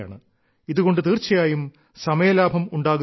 ഇതുകൊണ്ട് തീർച്ചയായും സമയലാഭം ഉണ്ടാക്കുന്നുമുണ്ട്